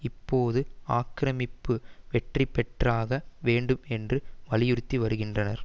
இப்போது ஆக்கிரமிப்பு வெற்றி பெற்றாக வேண்டும் என்று வலியுறுத்தி வருகின்றனர்